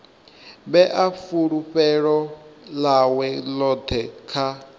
vhea fulufhelo ḽawe ḽoṱhe kha